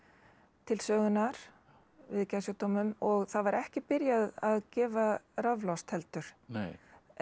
til sögunnar við geðsjúkdómum og það var ekki byrjað að gefa raflost heldur eina